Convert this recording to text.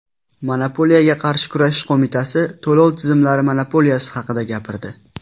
Monopoliyaga qarshi kurashish qo‘mitasi to‘lov tizimlari monopoliyasi haqida gapirdi.